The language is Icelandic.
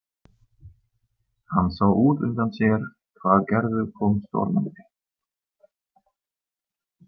Hann sá útundan sér hvar Gerður kom stormandi.